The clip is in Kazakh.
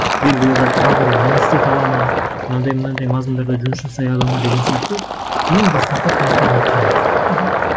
белгілі бір бағдарламаны істете алады ма мынандай мынандай мазмұндарда жұмыс жасай алады ма деген сияқты ең бастапқы талаптарына қарайды мхм